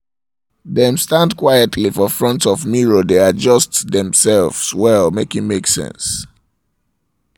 dem stand quietly for front um of mirror dae dae adjust their cloth well make e make sense